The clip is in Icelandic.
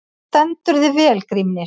Þú stendur þig vel, Grímnir!